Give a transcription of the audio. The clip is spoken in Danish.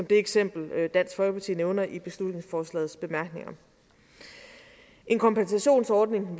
det eksempel dansk folkeparti nævner i beslutningsforslagets bemærkninger en kompensationsordning